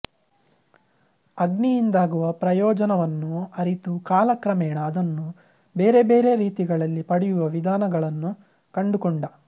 ಅಗ್ನಿಯಿಂದಾಗುವ ಪ್ರಯೋಜನವನ್ನು ಅರಿತು ಕಾಲಕ್ರಮೇಣ ಅದನ್ನು ಬೇರೆ ಬೇರೆ ರೀತಿಗಳಲ್ಲಿ ಪಡೆಯುವ ವಿಧಾನಗಳನ್ನು ಕಂಡುಕೊಂಡ